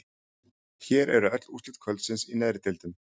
Hér eru öll úrslit kvöldsins í neðri deildum: